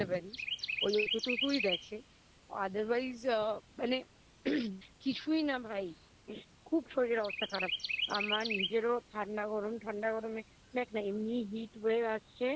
বলতে পারিস অতটুকুই দ্যাখে Othrwise মানে কিছুই না ভাই খুব শরীরের অবস্থা খারাপ আমার নিজেরও ঠান্ডা গরম ঠান্ডা গরমে দেখনা এমনিই Heat wave আসছে